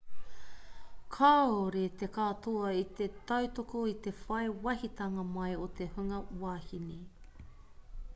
kāore te katoa i te tautoko i te whai wāhitanga mai o te hunga wahine